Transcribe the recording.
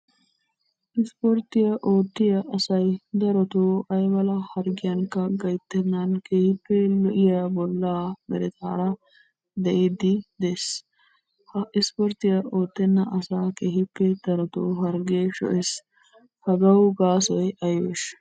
Ispporttiyaa oottiyaa asay darotoo aymala harggiyanikka gayttennan keehippe lo"iyaa bollaa meretaara de'iiddi de'ees. Ha ispporttiyaa oottenna asaa keehippe darotoo harggee sho'ees. Hagawu gaasoy aybeeshsha?